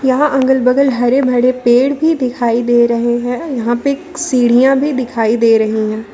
यहां अगल बगल हरे भरे पेड़ भी दिखाई दे रहे हैं यहां पे सीढ़ियां भी दिखाई दे रही हैं।